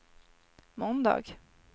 måndag